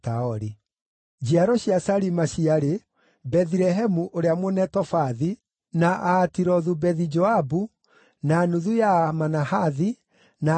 Njiaro cia Salima ciarĩ: Bethilehemu ũrĩa Mũnetofathi, na Aatirothu-Bethi-Joabu, na nuthu ya Amanahathi, na Azori,